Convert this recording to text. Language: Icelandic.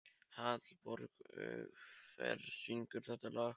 Hallborg, hver syngur þetta lag?